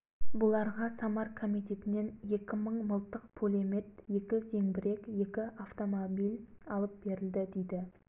орал облысы алашорда жарлығы бойынша орал облысынан екі мыңнан артық қазақ әскері жиылды